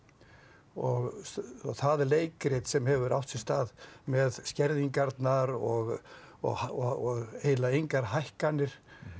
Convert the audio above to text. og það er leikrit sem hefur átt sér stað með skerðingarnar og og eiginlega engar hækkanir